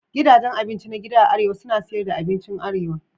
Gidajen abinci na gida a arewa suna siyar da abincin arewa.